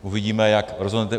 Uvidíme, jak rozhodnete.